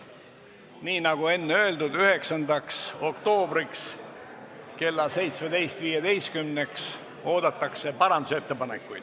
Nii, nagu enne öeldud, oodatakse parandusettepanekuid 9. oktoobriks kella 17.15-ks.